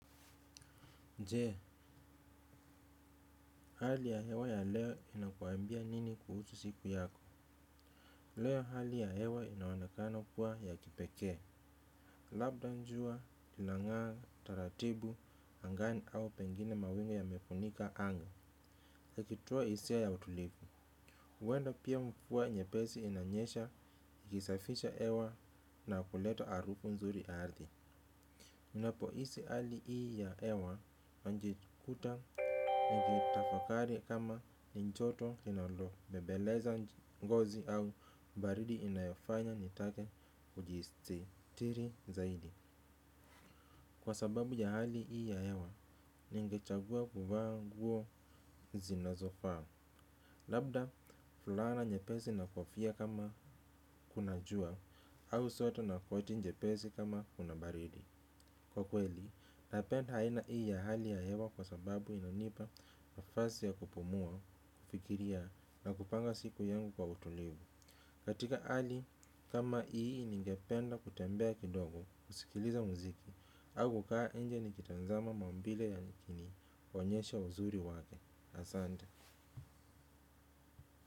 Je, hali ya hewa ya leo inakuambia nini kuhusu siku yako. Leo hali ya hewa inaonekana kuwa ya kipekee. Labda jua inangaa taratibu angani au pengine mawingu yamefunika anga. Ukitoa hisia ya utulivu. Huenda pia mvua nyepesi inanyesha, ikisafisha hewa na kuleta harufu nzuri ardhi. Ninapohisi hali hii ya hewa, najikuta nikitafakari kama ni joto inalo, bembeleza ngozi au baridi inayofanya nitake kujisitiri zaidi kwa sababu ya hali hii ya hewa, ningechagua kuvaa nguo zinazofaa labda fulana nyepesi na kofia kama kuna jua au sweta na koti jepesi kama kuna baridi kwa kweli napenda aina hii ya hali ya hewa kwa sababu inanipa nafasi ya kupumua, kufikiria na kupanga siku yangu kwa utulivu katika hali, kama hii ningependa kutembea kidogo kusikiliza mziki au kukaa nje nikitazama maumbile yakinionyesha uzuri wake asante.